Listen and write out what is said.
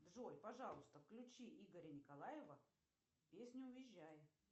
джой пожалуйста включи игоря николаева песню уезжай